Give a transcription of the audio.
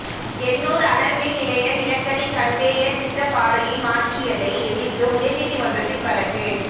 எண்ணூர் அனல்மின் நிலைய நிலக்கரி கன்வேயர் திட்டப் பாதையை மாற்றியதை எதிர்த்து உயர்நீதிமன்றத்தில் வழக்கு